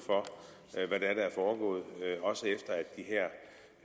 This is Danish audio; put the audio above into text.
at er foregået også efter